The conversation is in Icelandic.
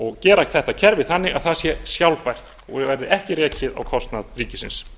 og gera þetta kerfi þannig að það sé sjálfbært og verði ekki rekið á kostnað ríkisins